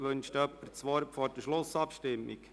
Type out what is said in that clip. Wünscht jemand das Wort vor der Schlussabstimmung?